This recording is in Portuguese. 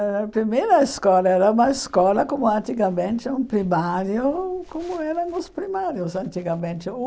Ãh primeira escola era uma escola como antigamente um primário, como eram os primários antigamente.